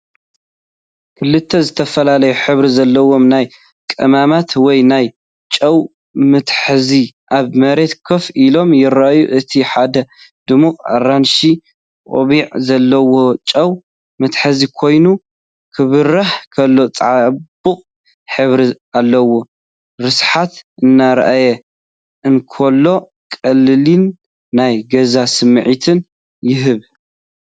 ክልተ ዝተፈላለየ ሕብሪ ዘለዎም ናይ ቀመማት ወይ ናይ ጨው መትሓዚ ኣብ መሬት ኮፍ ኢሎም ይረኣዩ። እቲ ሓደ ድሙቕ ኣራንሺ ቆቢዕ ዘለዎ ጨው መትሓዚ ኮይኑ፡ ክበርህ ከሎ ጽቡቕ ሕብሪ ኣለዎ።፡ርስሓቱ እናርኣየ እንከሎ፡ ቀሊልን ናይ ገዛ ስምዒትን ይህብ።